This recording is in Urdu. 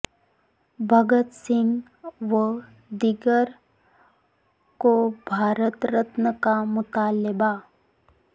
بھگت سنگھ و دیگر کو بھارت رتن کا مطالبہ